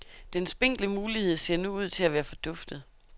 Den spinkle mulighed ser nu ud til at være forduftet.